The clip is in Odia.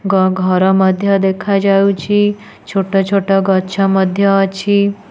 ଘର ମଧ୍ଯ ଦେଖାଯାଉଛି ଛୋଟ ଛୋଟ ଗଛ ମଧ୍ଯ ଅଛି।